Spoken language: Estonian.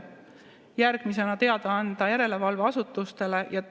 Järgmisena teada anda järelevalveasutustele.